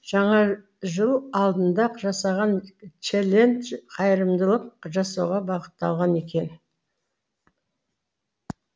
жаңа жыл алдында жасаған челлендж қайырымдылық жасауға бағытталған екен